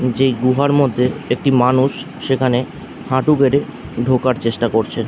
যেই গুহার মধ্যে একটি মানুষ সেখানে হাঁটু গেড়ে ঢোকার চেষ্টা করছে ।